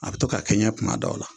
A bɛ to ka kɛɲɛ kuma dɔw la